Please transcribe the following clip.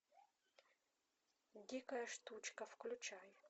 дикая штучка включай